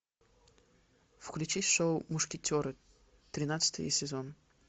включи шоу мушкетеры тринадцатый сезон